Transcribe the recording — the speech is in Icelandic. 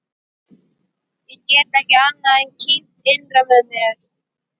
Ég get ekki annað en kímt innra með mér.